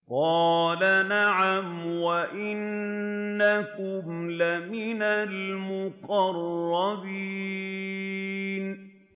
قَالَ نَعَمْ وَإِنَّكُمْ لَمِنَ الْمُقَرَّبِينَ